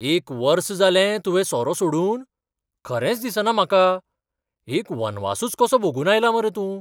एक वर्स जालें तुवें सोरो सोडून? खरेंच दिसना म्हाका! एक वनवासूच कसो भोगून आयला मरे तूं.